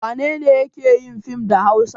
Wane ne yake yin fim da Hausa?